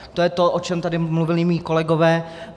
To je to, o čem tady mluvili mí kolegové.